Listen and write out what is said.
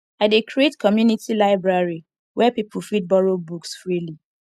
i dey create community library where people fit borrow books freely